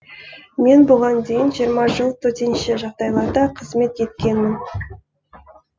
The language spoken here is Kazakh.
мен бұған дейін жиырма жыл төтенше жағдайларда қызмет еткенмін